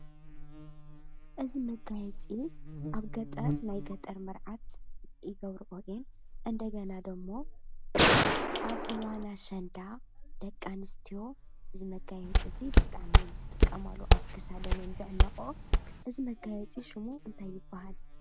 እዚ መጋየፂ ኣብ ገጠር ናይ ገጠር መርዓት ይገብርኦ እየን እንደገና ደሞ ኣብ እዋን ኣሸንዳ ደቂ ኣነስትዮ እዚ መጋየፂ እዚ ብጣዕሚ እየን ዝጥቀማሉ፡፡ ኣብ ክሳደን እየን ዝሕነቆኦ እዚ መጋየፂ እዚ ሽሙ እንታይ ይባሃል?